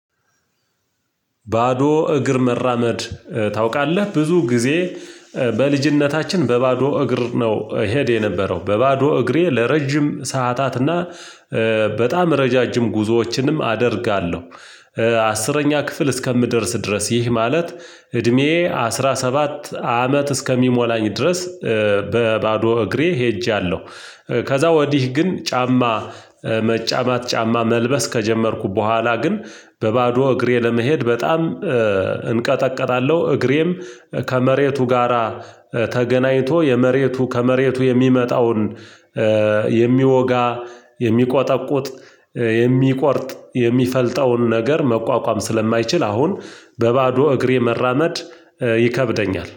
ባዶ እግር መራመድ ታውቃለህ? ብዙ ጊዜ በልጅነታችን በባዶ እግር ነው እሄድ የነበረው፤ በባዶ እግሬ ለረጅም ሰዓታትና በጣም ረዣዥም ጉዞዎችንም አደርጋለሁ፤ አስረኛ ክፍል እስከምደርስ ድረስ ይህ ማለት እድሜዬ አስራ ሰባት አመት እስከሚሞላኝ ድረስ በባዶ እግሬ ሄጃለሁ፤ ከዛ ወዲህ ግን ጫማ መጫማት ጫማ መልበስ ከጀመርኩ በኋላ ግን በባዶ እግሬ ለመሄድ በጣም እንቀጠቅጣለሁ፤ እግሬም ከመሬቱ ጋራ ተገናኝቶ የመሬቱ ከመሬቱ የሚመጣውን የሚወጋ፣ የሚቆጠቁጥ፣ የሚቆርጥ፣ የሚፈልጠውን ነገር መቋቋም ስለማይችል አሁን በባዶ እግሬ መራመድ ይከብደኛል።